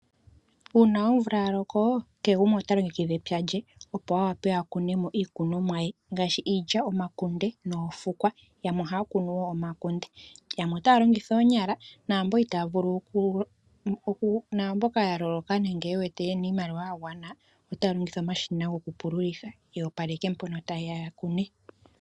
Uuna omvula yaloko kehe gumwe ota longekidha epya lye opo yawape yakunemo iikunomwa ye ngaashi, iilya, omakunde noofukwa, yamwe otaya longitha oonyala namboka yaloloka nenge yewete yena iimaliwa yagwana, otaya longitha omashina gokupululitha, yoopaleke mpono tayeya yakune.